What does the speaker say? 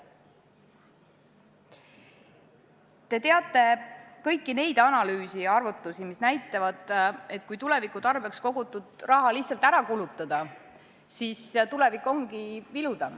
Te teate kõiki neid analüüse ja arvutusi, mis näitavad, et kui tuleviku tarbeks kogutud raha lihtsalt ära kulutada, siis tulevik ongi vilum.